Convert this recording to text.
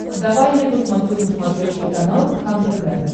давай я посмотрю на смотрешке канал кхлм тв